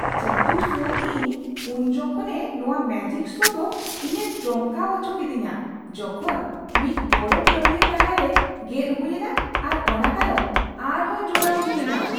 ᱡᱟᱹᱫᱩ ᱥᱳ ᱤᱧ ᱩᱱ ᱡᱚᱠᱷᱚᱱᱮ ᱱᱚᱣᱟ ᱢᱮᱡᱤᱠ ᱥᱳ ᱫᱚ ᱤᱧᱮ ᱪᱚᱢᱠᱟᱣ ᱟᱪᱚ ᱠᱤᱫᱤᱧᱟ ᱡᱚᱠᱷᱚᱱ ᱢᱤᱫ ᱜᱚᱲᱚ ᱠᱟᱹᱢᱤᱭᱟᱹ ᱛᱟᱞᱟᱨᱮ ᱜᱮᱫ ᱦᱩᱭᱮᱱᱟ ᱟᱨ ᱚᱱᱟ ᱛᱟᱭᱚᱢ ᱟᱨᱦᱚᱸᱭ ᱡᱚᱲᱟᱣ ᱦᱩᱭᱮᱱᱟ ᱾